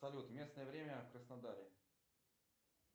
салют местное время в краснодаре